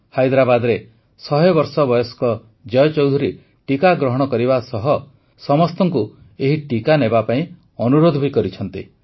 ହାଇଦ୍ରାବାଦରେ ୧୦୦ ବର୍ଷ ବୟସ୍କ ଜୟ ଚୌଧୁରୀ ଟିକା ଗ୍ରହଣ କରିବା ସହ ସମସ୍ତଙ୍କୁ ଏହି ଟିକା ନେବାପାଇଁ ଅନୁରୋଧ କରିଛନ୍ତି